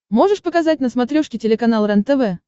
можешь показать на смотрешке телеканал рентв